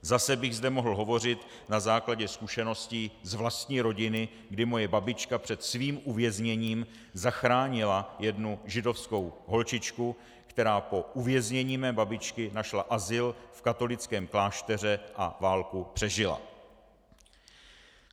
Zase bych zde mohl hovořit na základě zkušeností z vlastní rodiny, kdy moje babička před svým uvězněním zachránila jednu židovskou holčičku, která po uvěznění mé babičky našla azyl v katolickém klášteře a válku přežila.